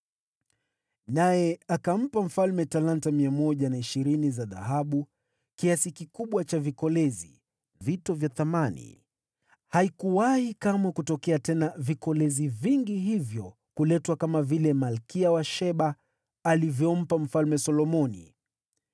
Naye akampa mfalme talanta 120 za dhahabu, kiasi kikubwa sana cha vikolezi na vito vya thamani. Haikuwahi kamwe kuletwa tena vikolezi vingi hivyo kuletwa kama vile malkia wa Sheba alivyompa Mfalme Solomoni.